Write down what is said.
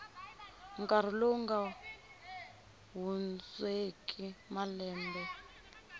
nkarhi lowu nga hundzeki malembe